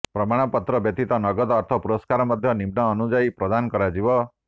ପ୍ରମାଣପତ୍ର ବ୍ୟତୀତ ନଗତ ଅର୍ଥ ପୁରସ୍କାର ମଧ୍ୟ ନିମ୍ନ ଅନୁଯାୟୀ ପ୍ରଦାନ କରାଯିବ